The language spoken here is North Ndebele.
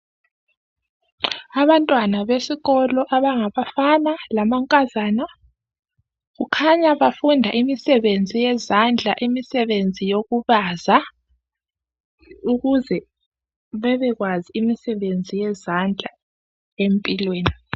Abantwana besikolo abangabafana lamankazana kukhanya bafunda imisebenzi yezandla, imisebenzi yokubaza, ukuze bebekwazi imisebenzi yezandla empilweni